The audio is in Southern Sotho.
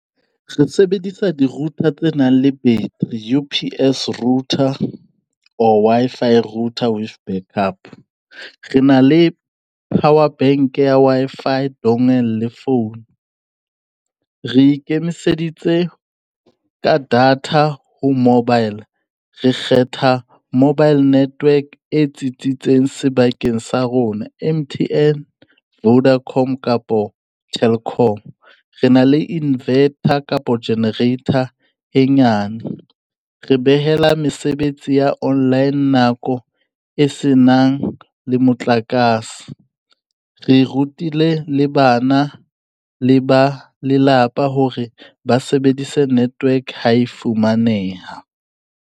Re sebedisa di-router tse nang le battery, U_P_S router or Wi-Fi router with back up. Re na le power bank ya Wi-Fi dongle le phone. Re ikemiseditse ka data ho mobile. Re kgetha mobile network e tsitsitseng sebakeng sa rona M_T_N, Vodacom kapo Telkom. Re na le inverter kapo generator e nyane. Re behela mesebetsi ya online nako e se nang le motlakase. Re rutile le bana le ba lelapa hore ba sebedise network ha e fumaneha.